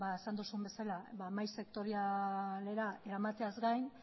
esan duzun bezala mahai sektorialera eramateaz gain